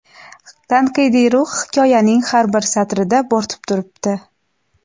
tanqidiy ruh hikoyaning har bir satrida bo‘rtib turibdi.